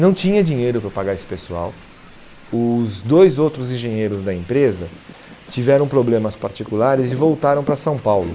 não tinha dinheiro para pagar esse pessoal, os dois outros engenheiros da empresa tiveram problemas particulares e voltaram para São Paulo.